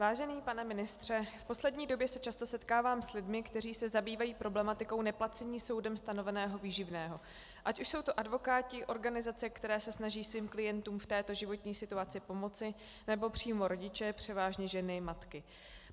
Vážený pane ministře, v poslední době se často setkávám s lidmi, kteří se zabývají problematikou neplacení soudem stanoveného výživného, ať už jsou to advokáti, organizace, které se snaží svým klientům v této životní situaci pomoci, nebo přímo rodiče, převážně ženy, matky.